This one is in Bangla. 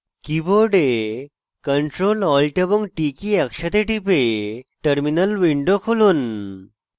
keyboard ctrl alt এবং t কী একসাথে টিপে terminal উইন্ডো খুলুন